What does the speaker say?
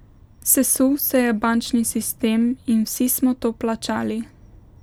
Sesul se je bančni sistem in vsi smo to plačali.